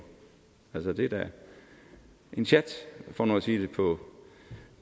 altså det er da en sjat for nu at sige det på